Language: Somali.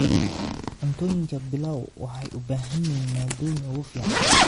Cuntooyinka Pilau waxay u baahan yihiin maaddooyinka ugu fiican.